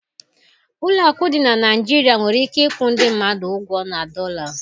Ụlọ akụ dị na Nigeria nwere ike ịkwụ ndị mmadụ ụgwọ na dọla